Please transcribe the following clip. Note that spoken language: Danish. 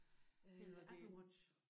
Apple Watch